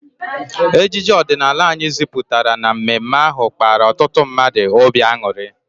Ejije ọdịnala anyị ziputara na mme mme ahụ kpara ọtụtụ mmadụ obi anuri